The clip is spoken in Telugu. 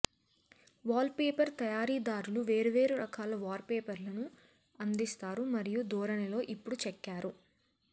వాల్పేపర్ తయారీదారులు వేర్వేరు రకాల వాల్పేపర్లను అందిస్తారు మరియు ధోరణిలో ఇప్పుడు చెక్కారు